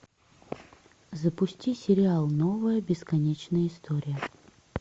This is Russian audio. запусти сериал новая бесконечная история